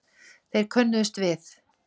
Þeir könnuðust við